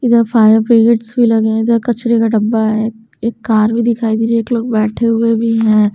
इधर fire brigades भी लगे हैं इधर कचरे का डब्बा है एक एक कार भी दिखाई दे रही है एक लोग बैठे हुए भी हैं।